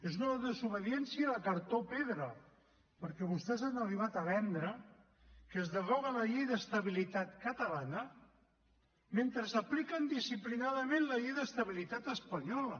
és una desobediència de cartró pedra perquè vostès han arribat a vendre que es deroga la llei d’estabilitat catalana mentre apliquen disciplinadament la llei d’estabilitat espanyola